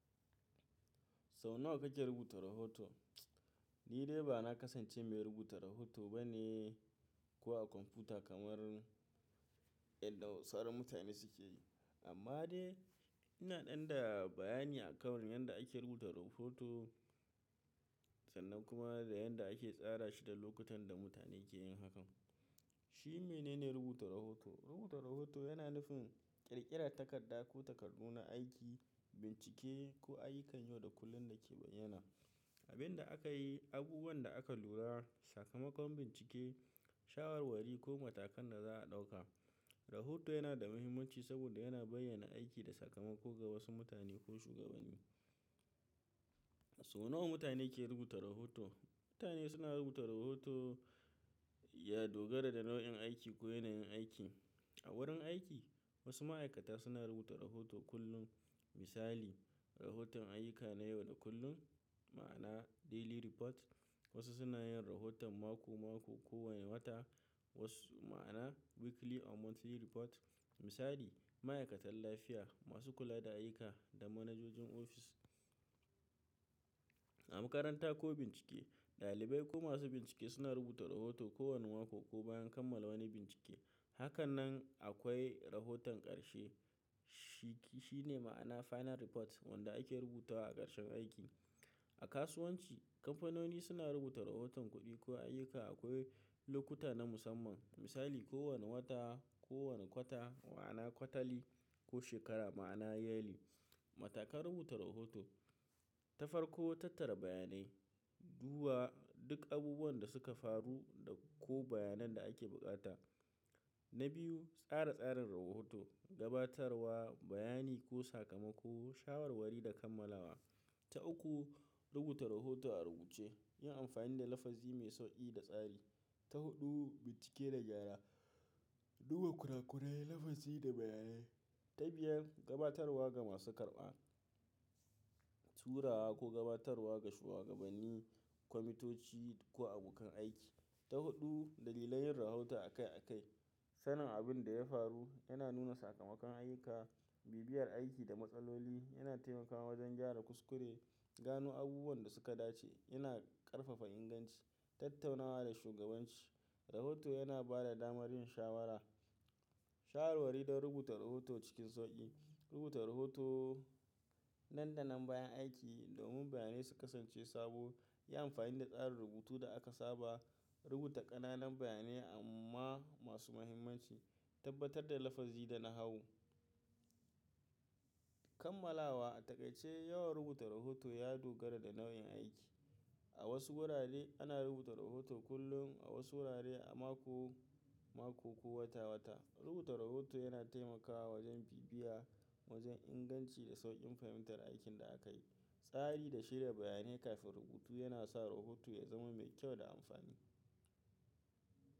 Sau nawa kake rubuta rahoto? Ni dai ba na kasance mai rubuta rahoto ba ne, ko a kwamfuta kamar yadda sauran mutane suke yi. Amma dai ina ɗan da bayani akan yanda ake rubuta rahoto sannan kuma da yanda ake tsara shi da lokutan da mutane ke yin hakan. Shi mene ne rubuta rahoto? Rubuta rahoto yana nufin ƙirƙirar takarda ko takardu na aiki, bincike ko ayyukan yau da kullun da ke bayyana abin da aka yi, abubuwan da aka lura, sakamakon bincike, shawarwari ko matakan da za a ɗauka. Rahoto yana da muhimmanci saboda yana bayyana aiki da sakamako ga wasu mutane ko shugabanni. Sau nawa mutane ke rubuta rahoto? Mutane suna rubuta rahoto ya dogara da nau'in aiki ko yanayin aiki. A wurin aiki, wasu ma'aikata suna rubuta rahoto kullum. Misali, rahoton ayyuka na yau da kullum, ma'ana daily report. Wasu suna yin rahoton mako-mako ko wani wata, wasu ma'ana weekly or monthly report. Misali, ma'aikatan lafiya masu kula da ayyuka da manajojin ofis. A makaranta ko bincike, ɗalibai ko masu bincike suna rubuta rahoto kowane mako ko bayan kammala wani bincike. Hakanan akwai rahoton ƙarshe. Shi, shi ne ma'ana final report wanda ake rubuta wa a ƙarshen aiki. A kasuwanci, kamfanoni suna rubuta rahoton kuɗi ko ayyuka akwai lokuta na musamman. Misali, kowane wata, kowane kwata ma'ana kwatali ko shekara ma'ana yearly. Matakan rubuta rahoto. Ta farko, tattara bayanai. Duba duk abubuwan da suka faru da ko bayanan da ake buƙata. Na biyu, tsara tsarin rahoto. Gabatarwa, bayani ko sakamako, shawarwari da kammalawa. Ta uku, rubuta rahoto a rubuce. Yin amfani da lafazi mai sauƙi da tsari. Ta huɗu, bincike da gyara. Duba kurakurai, lafazi da bayanai. Ta biyar, gabatarwa ga masu karɓa. Turawa ko gabatarwa ga shugabanni, kwamitoci ko abokan aiki. Ta huɗu, dalilai yin rahoton a kai a kai. Sanin abin da ya faru yana nuna sakamakon ayyuka, bibiyar aiki da matsaloli. Yana taimakawa wajen gyara kuskure, gano abubuwan da suka dace, yana ƙarfafa inganci, tattaunawa da shugabanci. Rahoto yana ba da damar yin shawara. Shawarwari don rubuta rahoto cikin sauƙi. Rubuta rahoto nan danan bayan aiki domin bayanai su kasance sabo. Yi amfani da tsarin rubutu da aka saba. Rubuta ƙananan bayanai amma masu mahimmanci. Tabbatar da lafazi da nahawu. Kammalawa. A taƙaice, yawan rubuta rahoto ya dogara da nau'in aiki. A wasu wurare ana rubuta rahoto kullum, a wasu wurare a mako-mako ko wata-wata. Rubuta rahoto yana taimakawa wajen bibiya, wajen inganci da sauƙin fahimtar aikin da aka yi. Tsari da shirya bayanai kafin rubutu yana sa rahoto ya zama mai kyau da amfani.